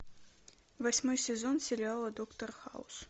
восьмой сезон сериала доктор хаус